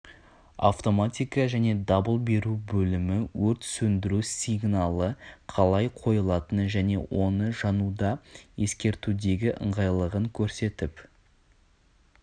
автоматика және дабыл беру бөлімі өрт сөндіру сингалы қалай қойылатыны және оның жануды ескертудегі ыңғайлылығын көрсетіп